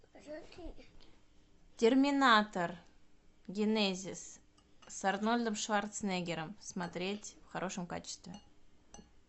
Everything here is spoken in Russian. терминатор генезис с арнольдом шварценеггером смотреть в хорошем качестве